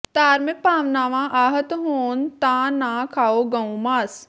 ਧਾਰਮਿਕ ਭਾਵਨਾਵਾਂ ਆਹਤ ਹੋਣ ਤਾਂ ਨਾ ਖਾਓ ਗਊ ਮਾਸ